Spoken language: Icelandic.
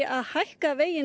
að hækka veginn